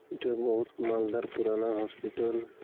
এটা মৌল মালদার পুরানা হসপিটাল ।